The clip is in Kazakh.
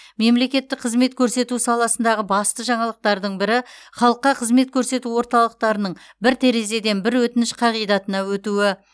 мемлекеттік қызмет көрсету саласындағы басты жаңалықтардың бірі халыққа қызмет көрсету орталықтарының бір терезеден бір өтініш қағидатына өтуі